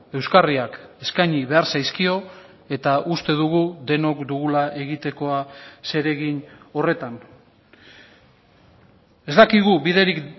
euskarriak eskaini behar zaizkio eta uste dugu denok dugula egitekoa zeregin horretan ez dakigu biderik